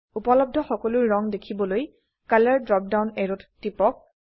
উপলব্ধ সকলো ৰঙ দেখিবলৈ কলৰ ড্ৰপ ডাউন অ্যাৰোত টিপক